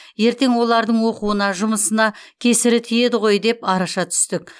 ертең олардың оқуына жұмысына кесірі тиеді ғой деп араша түстік